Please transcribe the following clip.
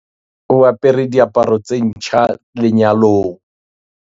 o apere diaparo tse ntjha lenyalong